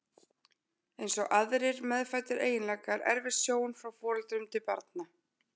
Eins og aðrir meðfæddir eiginleikar erfist sjón frá foreldrum til barna.